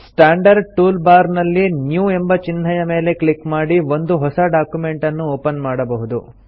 standard tool bar ನಲ್ಲಿ new ಎಂಬ ಚಿಹ್ನೆಯ ಮೇಲೆ ಕ್ಲಿಕ್ ಮಾಡಿ ಒಂದು ಹೊಸ ಡಾಕ್ಯುಮೆಂಟನ್ನು ಒಪನ್ ಮಾಡಬಹುದು